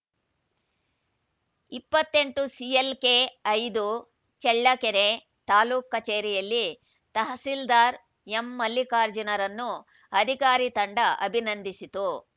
ಇಪ್ಪತ್ತ್ ಎಂಟು ಸಿಎಲ್‌ಕೆ ಐದು ಚಳ್ಳಕೆರೆ ತಾಲೂಕ್ ಕಚೇರಿಯಲ್ಲಿ ತಹಸೀಲ್ದಾರ್‌ ಎಂಮಲ್ಲಿಕಾರ್ಜುನರನ್ನು ಅಧಿಕಾರಿ ತಂಡ ಅಭಿನಂದಿಸಿತು